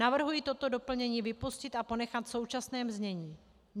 Navrhuji toto doplnění vypustit a ponechat v současném znění.